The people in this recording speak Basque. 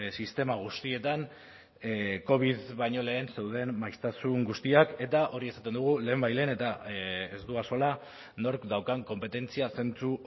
sistema guztietan covid baino lehen zeuden maiztasun guztiak eta hori esaten dugu lehenbailehen eta ez du axola nork daukan konpetentzia zentzu